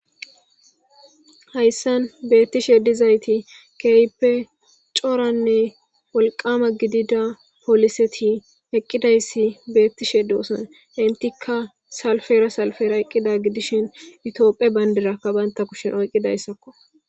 hayssan beettishe dizayti keehipe coranne wolqama gidida poliseti eqqidayssi beettishe doosan intikka salfera salfera eqqida gidishin utiopphe bayndirakka banta kushen oyqqidayssakko